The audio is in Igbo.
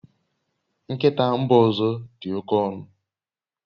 Nkịta mba ọzọ dị oke ọnụ